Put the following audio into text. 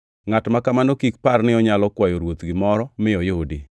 Ngʼat ma kamano kik par ni onyalo kwayo Ruoth gimoro mi oyudi,